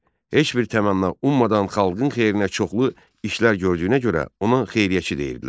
Heç bir təmənna ummadan xalqın xeyrinə çoxlu işlər gördüyünə görə ona xeyriyyəçi deyirdilər.